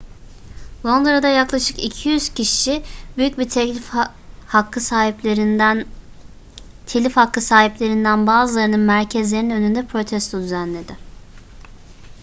londra'da yaklaşık 200 kişi büyük telif hakkı sahiplerinden bazılarının merkezlerinin önünde protesto düzenledi